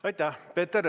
Aitäh!